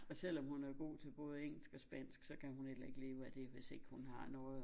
Og selvom hun er god til både engelsk og spansk så kan hun heller ikke leve af det hvis ikke hun har noget at